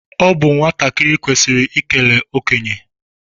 Ọ bụ nwatakịrị kwesịrị ikele okenye